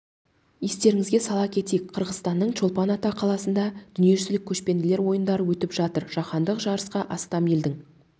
естеріңізге сала кетейік қырғызстанның чолпан ата қаласында дүниежүзілік көшпенділер ойындары өтіп жатыр жаһандық жарысқа астам елдің